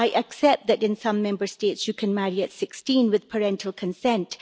I accept that in some Member States you can marry at 16 with parental consent.